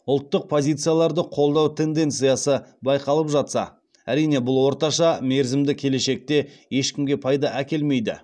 ұлттық позицияларды қолдау тенденциясы байқалып жатса әрине бұл орташа мерзімді келешекте ешкімге пайда әкелмейді